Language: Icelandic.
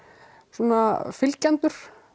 svona fylgjendur